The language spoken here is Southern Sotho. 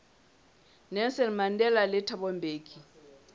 nelson mandela le thabo mbeki